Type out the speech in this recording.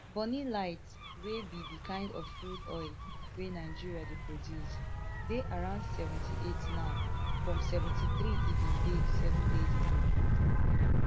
bonny light wey be di kind of crude oil wey nigeria dey produce dey around seventy-eight now from seventy-three e bin dey seven days ago